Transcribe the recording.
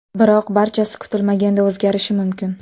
Biroq barchasi kutilmaganda o‘zgarishi mumkin.